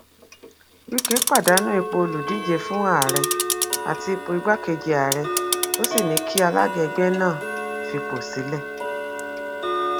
wike pàdánù ipò olùdíje fún àárẹ àti ipò igbákejì ààrẹ ó sì ní kí alága ẹgbẹ náà fipò sílẹ